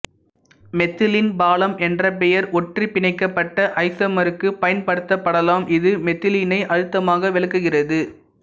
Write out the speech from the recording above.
methylene பாலம் என்ற பெயர் ஒற்றைபிணைக்கப்பட்ட ஐசோமருக்குப் பயன்படுத்தப்படலாம் இது மெதிலிடீனை அழுத்தமாக விலக்குகிறது